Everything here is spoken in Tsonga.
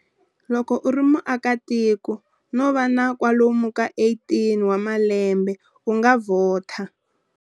Loko u ri muakatiko, no va na kwalomu ka 18 wa malembe u nga vhota.